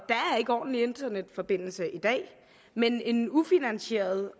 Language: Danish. ikke ordentlig internetforbindelse i dag men en ufinansieret